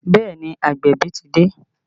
Bẹẹ ni, agbẹ̀bí ti dé